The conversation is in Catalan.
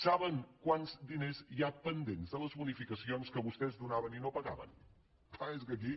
saben quants diners hi ha pendents de les bonificacions que vostès donaven i no pagaven clar és que aquí